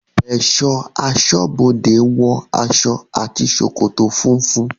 Ẹ̀ṣọ́ aṣọ́bodẹ̀ wọ aṣọ àti ṣòkòtò funfun.